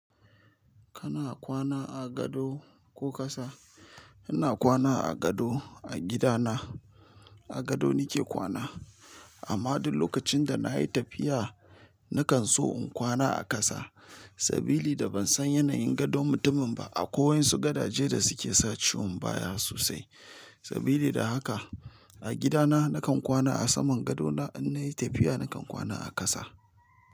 Kana kwana a gado ko kasa? Ina kwana a gado a gidana, a gado nike kwana. Amma du lokacin da na yi tafiya, nakan so in kwana a kasa sabili da ban san yanayin gadon mutumin ba. Akwai wasu gadaje da suke sa ciwon baya sosai. Sabili da haka, a gida na nakan kwana a saman gado na in nayi tafiya nakan kwana a kasa.